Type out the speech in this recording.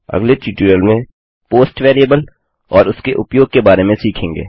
अगले ट्यूटोरियल में post post variable और उसके उपयोग के बारे में सीखेंगे